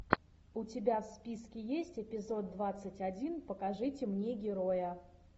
у тебя в списке есть эпизод двадцать один покажите мне героя